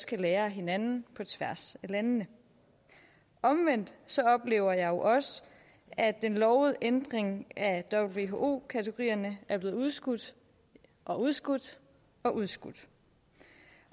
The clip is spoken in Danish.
kan lære af hinanden på tværs af landene omvendt oplever jeg også at den lovede ændring af who kategorierne er blevet udskudt og udskudt og udskudt